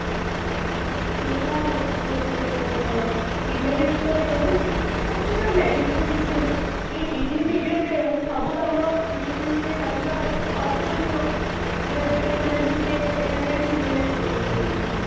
ସେଇଟା ବହୁତ ଭଲ କଥା ଟେ କହିଲ demerits ଯଦି ରହୁଛି ତାହେଲେ ସେଟା married ବି କିଛି ଅଛି ସବୁ କାମ physically ବି କରିବା possible ନୁହ ସେଥିପାଇଁ ଆମେ technology ଉପରେ ଏତେ dependent ହେଇଗଲେଣି